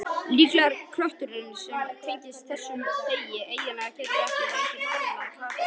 Líklegt er að kjötátið sem tengist þessum degi eigi rætur að rekja til katólsku.